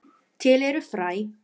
Til eru fræ.